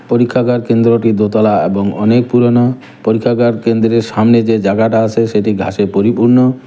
পরীক্ষাগার কেন্দ্রটি দোতলা এবং অনেক পুরোনো পরীক্ষাগার কেন্দ্রের সামনে যে জাগাটা আছে সেটি ঘাসে পরিপূর্ণ।